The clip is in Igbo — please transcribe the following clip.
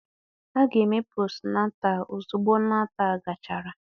A ga-eme posnetal ozugbo Netal gachara